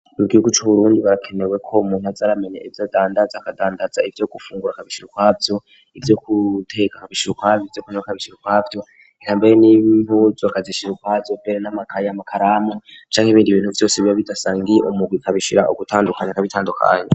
mu gihugu c' Uburundi harakenewe ko umuntu azaramenya ivyo adandaza, akadandaza ivyo gufungura akabishira ukwavyo, ivyo guteka akabishira ukwavyo, ivyo kunwa akabishira ukwavyo, hamwe n'impuzu akazishira ukwazo, kubera n'amakaye n'amakaramu canke ibindi ibintu vyose biba bidasangiye umugwi akabishira ugutandukanye akabitandukanya.